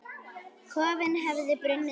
Kofinn hefði brunnið til ösku!